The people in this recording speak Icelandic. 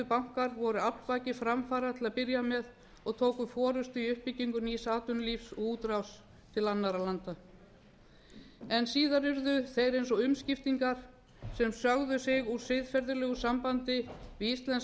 bankar voru orsakir framfara til að byrja með og tóku forustu í uppbyggingu nýs atvinnulífs og útrás til annarra landa en síðan urðu þeir eins og umskiptingar sem sögðu sig úr siðferðilegu sambandi við íslenskt